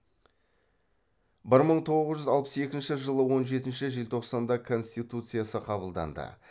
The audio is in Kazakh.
бір мың тоғыз жүз алпыс екінші жылы он жетінші желтоқсанда конституциясы қабылданды